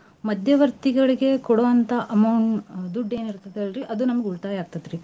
ಮಧ್ಯವರ್ತಿಗಳಿಗ ಕೊಡೋಂತಾ amou~ ದುಡ್ಡು ಎನ್ ಇರ್ತೇತ್ ಅಲ್ರೀ ಅದು ನಮ್ಗ ಉಳ್ತಾಯ ಆಕ್ತೇತ್ರಿ.